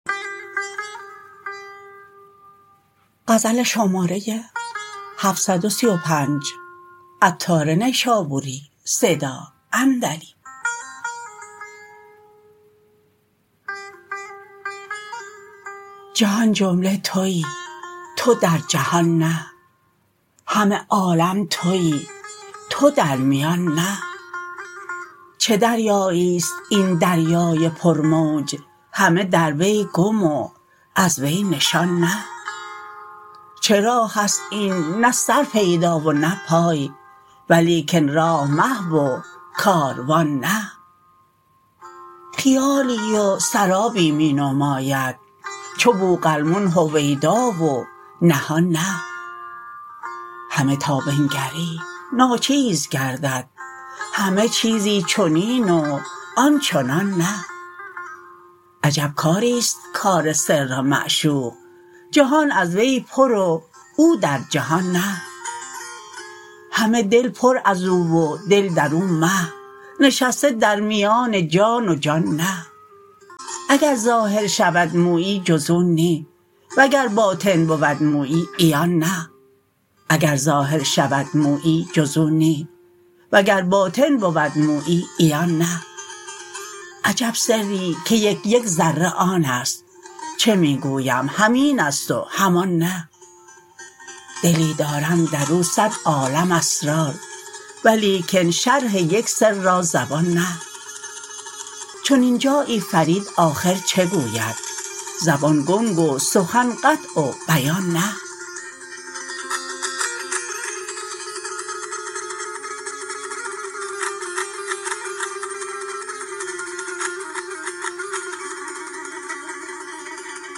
جهان جمله تویی تو در جهان نه همه عالم تویی تو در میان نه چه دریایی است این دریای پر موج همه در وی گم و از وی نشان نه چه راه است این نه سر پیدا و نه پای ولیکن راه محو و کاروان نه خیالی و سرابی می نماید چو بوقلمون هویدا و نهان نه همه تا بنگری ناچیز گردد همه چیزی چنین و آن چنان نه عجب کاری است کار سر معشوق جهان از وی پر و او در جهان نه همه دل پر ازو و دل درو محو نشسته در میان جان و جان نه اگر ظاهر شود مویی جز او نی وگر باطن بود مویی عیان نه عجب سری که یک یک ذره آن است چه می گویم همین است و همان نه دلی دارم درو صد عالم اسرار ولیکن شرح یک سر را زبان نه چنین جایی فرید آخر چه گوید زبان گنگ و سخن قطع و بیان نه